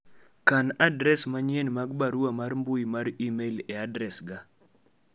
kan adres manyien mag barua mar mbui mar email e adres ga